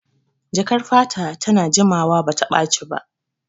Jakar fata ta na jimawa bata ɓaci ba